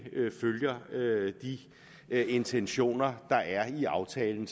følger de intentioner der er i aftalen